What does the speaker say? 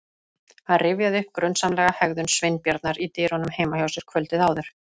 Hann rifjaði upp grunsamlega hegðun Sveinbjarnar í dyrunum heima hjá sér kvöldið áður.